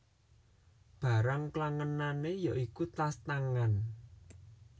Barang klangenané yaiku tas tangan